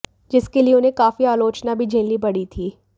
जिसके लिए उन्हें काफी आलोचना भी झेलनी पड़ी थी